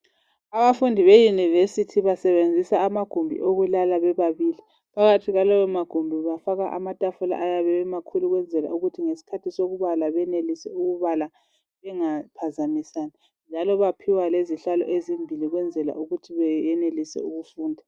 Abafundi be university basebenzisa amagumbi okulala bebabili. Phakathi kwalawo magumbi kwafakwa amatafula ayabe emakhulu ukwenzela ukuthi ngesikhathi sokubala benelise ukubala bengaphazamisani njalo baphiwa lezihlalo ezimbili ukwenzela ukuthi beyenelise ukufunda.